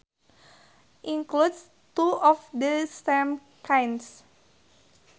includes two of the same kind